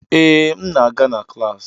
Ee, m na-aga na klas